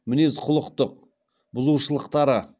мінез құлықтық бұзылушылықтары